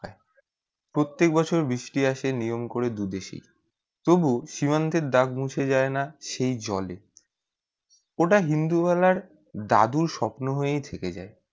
প্রত্যেক বছর বৃষ্টি আসে নিয়ম করে দুই দেশেই তবু সীমান্তে দাগ মুছে যায় না সেই জলে ওটা ইন্দুবালার দাদু স্বপ্ন হয়েই থেকে যায়।